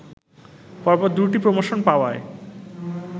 পরপর দুটি প্রমোশন পাওয়ায়